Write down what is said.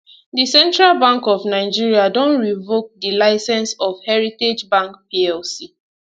di central bank of nigeria don revoke di licence of heritage bank plc